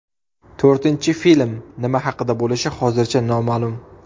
To‘rtinchi film nima haqida bo‘lishi hozircha noma’lum.